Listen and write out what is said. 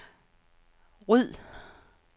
ryd